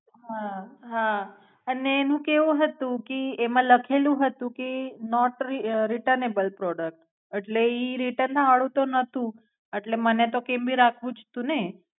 હા હા અને અને હુ કેવું હતું કી એમાં લખેલું હતું કે નોટ returnable product એટલે એ return ના હાળું તો નતુ એટલે મને તો કેમનું રાખવું જ તું ને.